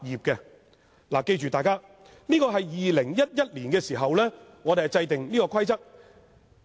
請大家記住，這是在2011年制訂的規定。